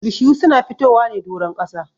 Bishiyu su na fitowa ne doron ƙasa.